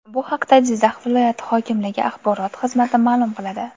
Bu haqda Jizzax viloyati hokimligi Axborot xizmati ma’lum qiladi .